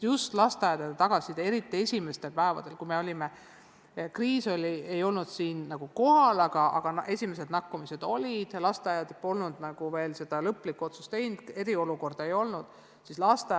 Just lasteaedade tagasiside näitas seda, eriti esimestel päevadel, kui kriis ei olnud veel kohal, aga esimesed nakatumised olid ilmnenud, lasteaiad polnud lõplikku otsust veel teinud, eriolukorda ei olnud välja kuulutatud.